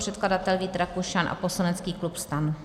Předkladatel Vít Rakušan a poslanecký klub STAN.